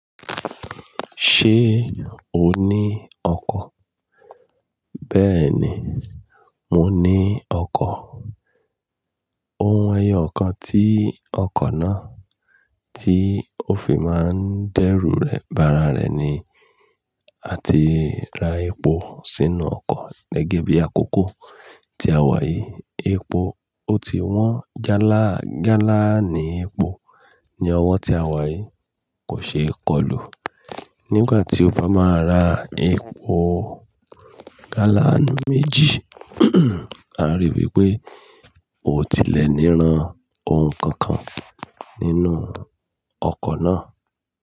Ṣé o ní ọkọ̀? Bẹ́ẹ̀ni, mo ní ọkọ̀. Ohun eyọ̀ kan tí ọkọ̀ náà tí ó fi máa ń dẹ́rù rẹ̀, ba'ra rẹ̀ ni. A ti ra epo sínú ọkọ̀ gẹ́gẹ́ bí àkókò tí a wà yìí. Epo, ó ti wọ́n. Gálàáni ní epo ni ọwọ́ tí a wà yìí kò ṣe é kọlù. Nígbà tí ó bá máa ra epo gálàánu méjì, a lè rí i wí pé ó ti lẹ̀ ní ran ohun kankan nínú ọkọ̀ náà.